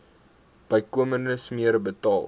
bykomende smere betaal